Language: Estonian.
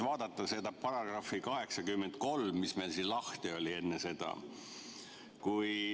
Vaatame § 83, mis meil siin lahti oli enne seda.